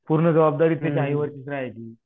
पूर्ण जबाबदारी त्याच्या आईवडिलांची राहायची